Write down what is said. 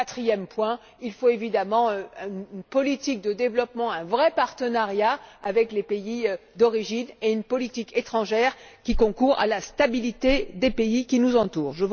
Quatrième pilier il faut évidemment une politique de développement, un vrai partenariat avec les pays d'origine et une politique étrangère qui concourent à la stabilité des pays qui nous entourent.